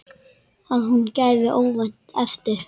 Að hún gefi óvænt eftir.